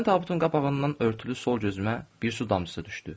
Birdən tabutun qabağından örtülü sol gözümə bir su damcısı düşdü.